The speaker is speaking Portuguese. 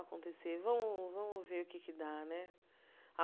Acontecer vamos vamos ver o que é que dá né.